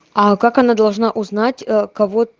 а как она должна узнать э кого